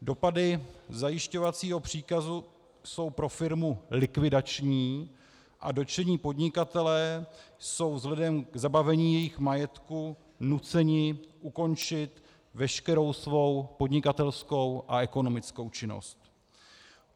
Dopady zajišťovacího příkazu jsou pro firmu likvidační a dotčení podnikatelé jsou vzhledem k zabavení jejich majetku nuceni ukončit veškerou svou podnikatelskou a ekonomickou činnost.